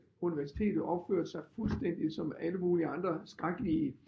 Universitetet opførte sig fuldstændig som alle mulige andre skrækkelige